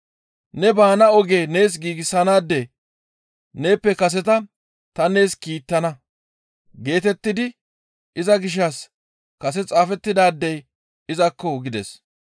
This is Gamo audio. « ‹Ne baana oge nees giigsanaade neeppe kaseta ta nees kiittana geetettidi iza gishshas kase xaafettidaadey izakko!› gides.